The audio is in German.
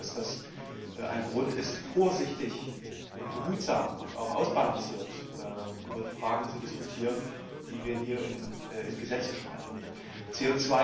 Und ich denke, dass das ein Grund ist, vorsichtig, behutsam und auch ausbalanciert über die Fragen zu diskutieren, die wir hier in Gesetze überführen.